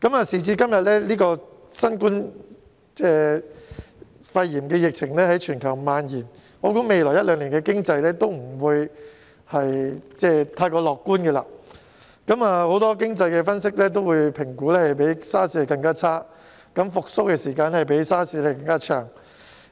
時至今日，新冠肺炎疫情在全球蔓延，我想未來一兩年的經濟也不會太過樂觀，很多經濟分析也評估會較 SARS 更差，復蘇時間亦會較 SARS 更長。